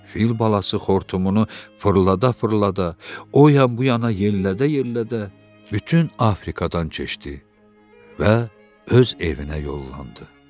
Fil balası xortumunu fırlada-fırlada, o yan bu yana yellədə-yellədə bütün Afrikadan keçdi və öz evinə yollandı.